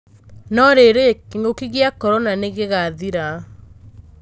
No-rĩrĩ, kĩng'ũki gĩa Korona nĩ gĩgathira ?